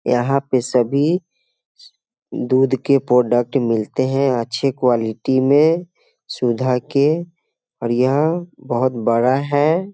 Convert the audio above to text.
यहाँ पे सभी दूध के प्रोडक्ट मिलते हैं अच्छे क्वालिटी में सुधा के और यहाँ बहुत बड़ा है।